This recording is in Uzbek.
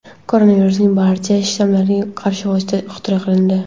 Koronavirusning barcha shtammlariga qarshi vosita ixtiro qilindi.